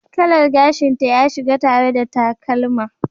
Kalar gashinta ya shiga tare da takalma.